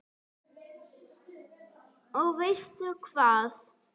Og veistu hvað?